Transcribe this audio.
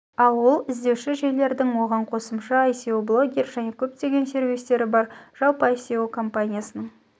ал ол іздеуші жүйелердің сы оған қосымша ое блогер және көптеген сервистері бар жалпы оое компаниясының